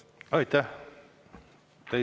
Aitäh!